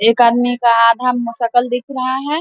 एक आदमी का आधा मुंह सकल दिख रहा है ।